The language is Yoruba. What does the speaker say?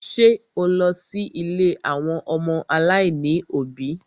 Ṣé o lọ sí ilé àwọn ọmọ aláìní òbí?